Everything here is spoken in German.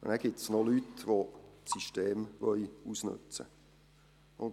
Und dann gibt es noch Leute, die das System ausnützen wollen.